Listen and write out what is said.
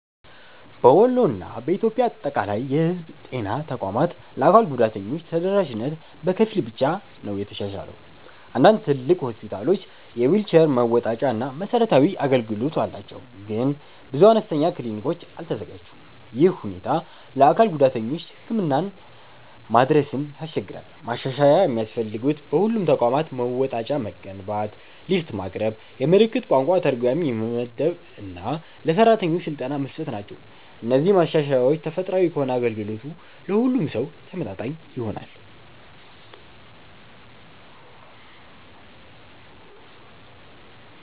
በወሎ እና በኢትዮጵያ አጠቃላይ የህዝብ ጤና ተቋማት ለአካል ጉዳተኞች ተደራሽነት በከፊል ብቻ የተሻሻለ ነው። አንዳንድ ትልቅ ሆስፒታሎች የዊልቸር መወጣጫ እና መሰረታዊ አገልግሎት አላቸው፣ ግን ብዙ አነስተኛ ክሊኒኮች አልተዘጋጁም። ይህ ሁኔታ ለአካል ጉዳተኞች ህክምና መድረስን ያስቸግራል። ማሻሻያ የሚያስፈልጉት በሁሉም ተቋማት መወጣጫ መገንባት፣ ሊፍት ማቅረብ፣ የምልክት ቋንቋ ተርጓሚ መመደብ እና ለሰራተኞች ስልጠና መስጠት ናቸው። እነዚህ ማሻሻያዎች ተፈጥሯል ከሆነ አገልግሎቱ ለሁሉም ሰው ተመጣጣኝ ይሆናል።